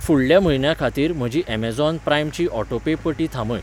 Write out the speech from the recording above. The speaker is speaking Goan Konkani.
फुडल्या म्हयन्या खातीर म्हजी अमेझॉन प्राइम ची ऑटोपे पटी थांबय.